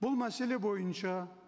бұл мәселе бойынша